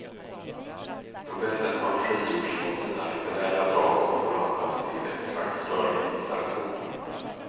Novellen har frigjorts från sina litterära drag och förvandlats till ett slags rörlig installation.